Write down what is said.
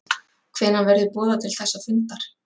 Hvenær verður boðað til þessa fundar